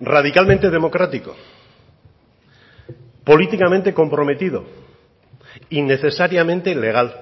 radicalmente democrático políticamente comprometido innecesariamente ilegal